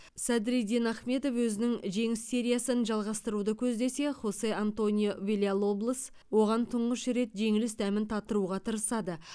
садриддин ахмедов өзінің жеңіс сериясын жалғастыруды көздесе хосе антонио вильялоблос оған тұңғыш рет жеңіліс дәмін татыруға тырысады